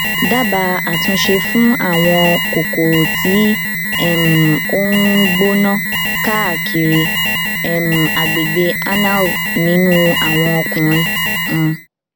dábàá àtúnṣe fún àwọn kòkòrò tí um ó ń gbóná káàkiri um agbègbè anal nínú àwọn ọkùnrin um